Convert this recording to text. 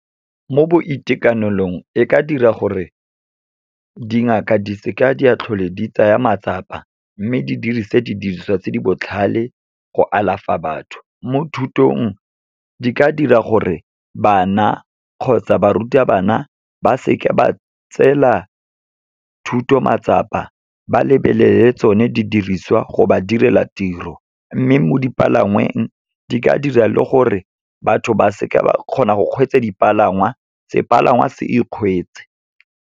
Mo boitekanelong, e ka dira gore dingaka di seke di a tlhola di tsaya matsapa, mme di dirisa di diriswa tse di botlhale go alafa batho. Mo thutong, di ka dira gore bana kgotsa barutabana ba seke ba tseela thuto matsapa, ba lebelele tsone di diriswa go ba direla tiro. Mme mo dipalangweng, di ka dira le gore batho ba seke ba kgona go kgweetsa dipalangwa, se palangwa se ikgweetse.